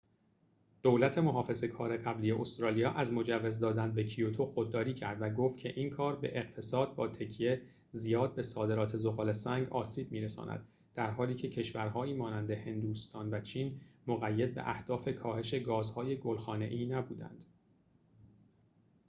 دولت محافظه کار قبلی استرالیا از مجوز دادن به کیوتو خودداری کرد و گفت که این کار به اقتصاد با تکیه زیاد به صادرات ذغال‌سنگ آسیب می‌رساند در حالیکه کشورهایی مانند هندوستان و چین مقید به اهداف کاهش گازهای گل‌خانه‌ای نبودند